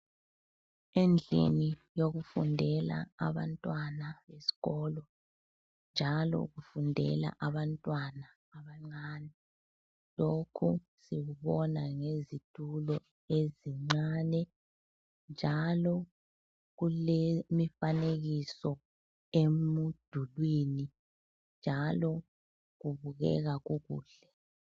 Endlini yokufundela abantwana esikolo njalo kufundela abantwana abancane. Lokho sikubona ngezitulo ezincane njalo kulemifanekiso emdulwini njalo kubukeka kukuhle.